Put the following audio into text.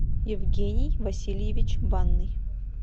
евгений васильевич банный